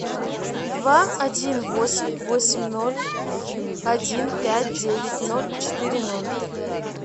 два один восемь восемь ноль один пять девять ноль четыре ноль